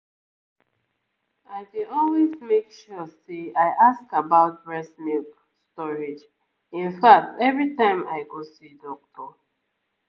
i dey always make sure say i ask about breast milk storage in fact every time i go see doctor